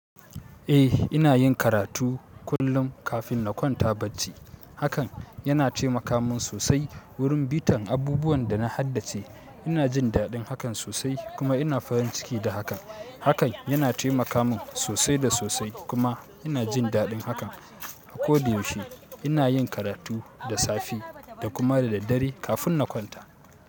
Eh ina yin karatu kullum kafin na kwanta bacci. Hakan yana taimaka min sosai wurin bitan abubuwan da na haddace. Ina jin daɗin hakan sosai kuma ina farin ciki da hakan. Hakan yana taimaka min sosai da sosai kuma ina jin daɗin hakan. A koda yaushe ina yin karatu da safe da kuma da daddare kafin na kwanta.